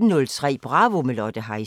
18:03: Bravo – med Lotte Heise